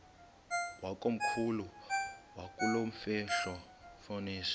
wakomkhulu wakulomfetlho fonis